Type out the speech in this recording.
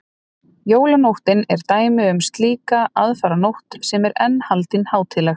jólanóttin er dæmi um slíka aðfaranótt sem enn er haldin hátíðleg